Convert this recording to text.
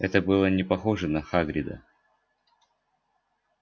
это было не похоже на хагрида